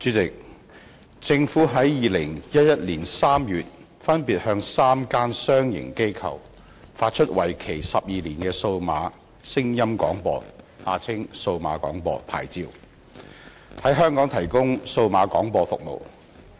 主席，政府於2011年3月分別向3間商營機構發出為期12年的數碼聲音廣播牌照，在香港提供數碼廣播服務。